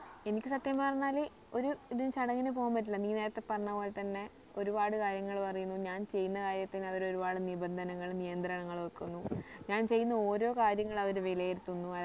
എനിക്ക് സത്യം പറഞ്ഞാൽ ഒരു ഇതു ചടങ്ങിന് പോവാൻ പറ്റൂല നീ നേരത്തെ പറഞ്ഞ പോലെ തന്നെ ഒരുപാട് കാര്യങ്ങൾ പറയുന്നു ഞാൻ ചെയ്യുന്ന കാര്യത്തിന് അവര് ഒരുപാട് നിബന്ധനകൾ നിയന്ത്രണങ്ങൾ വെക്കുന്നു ഞാൻ ചെയ്യുന്ന ഓരോ കാര്യങ്ങളും അവർ വിലയിരിത്തുന്നു